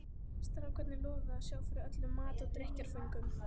Strákarnir lofuðu að sjá fyrir öllum mat og drykkjarföngum.